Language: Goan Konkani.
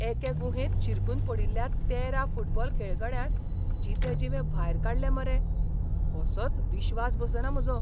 एके गुहेंत शिरकून पडिल्ल्या तेरा फुटबॉल खेळगड्यांक जितेजिवे भायर काडले मरे, कसोच विश्वास बसना म्हजो.